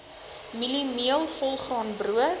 mieliemeel volgraan brood